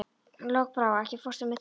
Lokbrá, ekki fórstu með þeim?